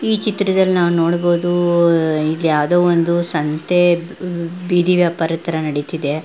ಈ ಚಿತ್ರದಲ್ಲಿ ನಾವು ನೋಡಬಹುದು ಇದು ಯಾವ್ದೋ ಒಂದು ಸಂತೆ ಬೀದಿ ವ್ಯಾಪಾರದ ತರ ನಡೀತಾ ಇದೆ.